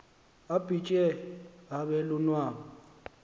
abhitye abe lunwabu